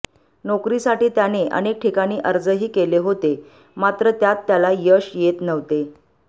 नोकरीसाठी त्याने अनेक ठिकाणी अर्जही केले होते मात्र त्यात त्याला यश येत नव्हते